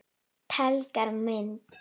Tenglar og mynd